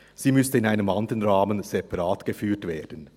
Sie müsste in einem anderen Rahmen separat geführt werden.